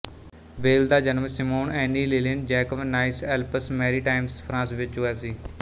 ਵੇਲ ਦਾ ਜਨਮ Simone Annie Liline Jacob Nice Alpes Maritimes France ਵਿੱਚ ਹੋਇਆ ਸੀ